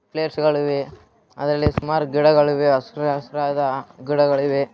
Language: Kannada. ಪ್ಲೇಯರ್ಸ್ ಗಳಿವೆ ಅದ್ರಲ್ಲಿ ಸುಮಾರು ಗಿಡಗಳು ಇವೆ ಹಸಿರಾದ ಹಸಿರಾದ ಗಿಡಿಗಳು ಇವೆ.